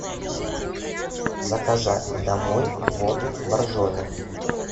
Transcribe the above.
заказать домой воду боржоми